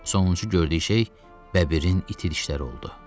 Sonuncu gördüyü şey bəbirin iti dişləri oldu.